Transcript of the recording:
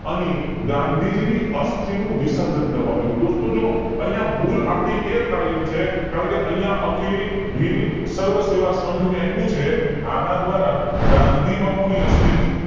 અને ગાંધીજી ની અસ્થિ નું વિશર્જન કરવામાં આવ્યું છે દોસ્તો જો અહીંયા ભૂલ આપડી એ થાય એમ છે કારણ કે અહીંયા અખિલ ભીલ સર્વ સેવા સંઘ મેં આપ્યું છે અને દ્વારા ગાંધી બાપુ ની અસ્થિ